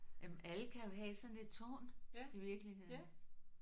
Jamen alle kan jo have sådan et tårn i virkeligheden